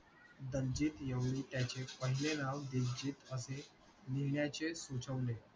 दलजीत यवनी त्याचे पहिले नाव दिलजीत असे लिहण्याचे सुचवले